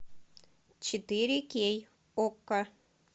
четыре кей окко